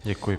Děkuji.